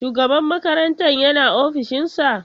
Shugaban makarantar yana ofishinsa?